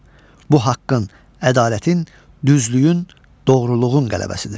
Bu haqqın, ədalətin, düzlüyün, doğruluğun qələbəsidir.